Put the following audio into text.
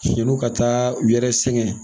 Yan'u ka taa u yɛrɛ sɛgɛn.